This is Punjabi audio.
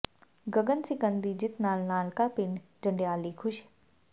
ਗਗਨ ਸਿਕੰਦ ਦੀ ਜਿੱਤ ਨਾਲ ਨਾਨਕਾ ਪਿੰਡ ਜੰਡਿਆਲੀ ਖ਼ੁਸ਼